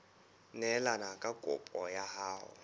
neelane ka kopo ya hao